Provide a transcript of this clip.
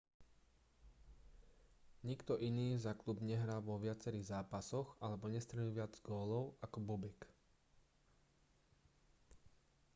nikto iný za klub nehral vo viacerých zápasoch alebo nestrelil viac gólov ako bobek